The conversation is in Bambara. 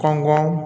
Kan kɔn